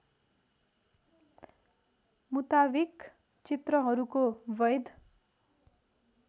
मुताविक चित्रहरूको बैध